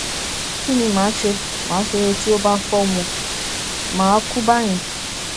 kí ni ma ṣe ma ṣe tí ó bá fọ wọn mà á kú báyẹn